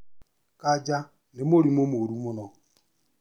Kanja nĩ mũrimũ mũru mũno